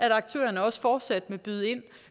at aktørerne også fortsat vil byde ind